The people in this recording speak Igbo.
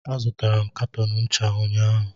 Azụtara m katọn ncha unyaahụ